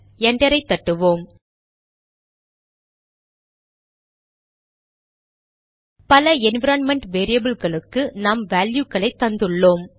என்டரை தட்டுவோம் பல என்விரான்மென்ட் வேரியபில்களுக்கு நாம் வேல்யுகளை தந்துள்ளோம்